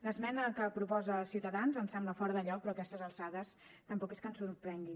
l’esmena que proposa ciutadans ens sembla fora de lloc però a aquestes alçades tampoc és que ens sorprenguin